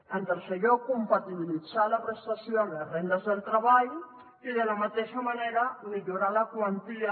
en tercer lloc compatibilitzar la prestació amb les rendes del treball i de la mateixa manera millorar la quantia